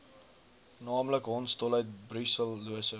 naamlik hondsdolheid brusellose